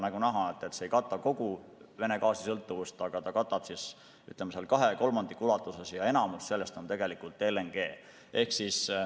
Nagu näha, see ei kata kogu sõltuvust Vene gaasist, aga ta katab, ütleme, kahe kolmandiku ulatuses ja enamik sellest on LNG.